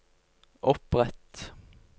opprett